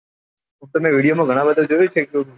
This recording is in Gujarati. તમે ગણા બધાં જોઉં છે કે